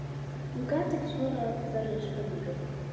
Hún gat ekki svarað þeirri spurningu.